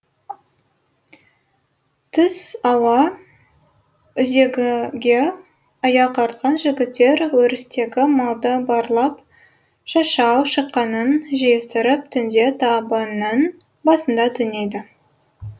түс ауа үзеңгіге аяқ артқан жігіттер өрістегі малды барлап шашау шыққанын жиыстырып түнде табынның басында түнейді